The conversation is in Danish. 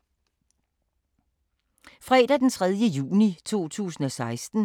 Fredag d. 3. juni 2016